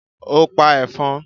ó pa ẹ̀fọn?